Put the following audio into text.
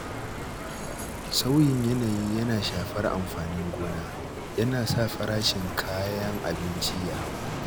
Sauyin yanayi yana shafar amfanin gona, yana sa farashin kayan abinci ya hau.